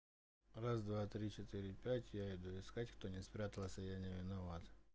раз два три четыре пять я иду искать кто не спрятался я не виноват